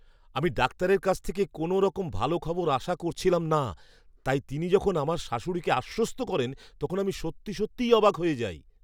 আমি ডাক্তারের কাছ থেকে কোনওরকম ভাল খবর আশা করছিলাম না, তাই তিনি যখন আমার শাশুড়িকে আশ্বস্ত করেন, তখন আমি সত্যিই অবাক হয়ে যাই।